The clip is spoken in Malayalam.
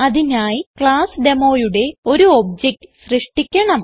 അതിനായി ക്ലാസ് Demoയുടെ ഒരു ഒബ്ജക്ട് സൃഷ്ടിക്കണം